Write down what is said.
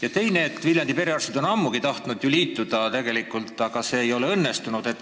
Ja teiseks: Viljandi perearstid on ammugi tahtnud liituda, aga see ei ole õnnestunud.